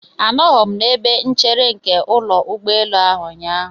Anọghị m n'ebe nchere nke ụlọ ụgbọelu ahụ ụnyaahụ.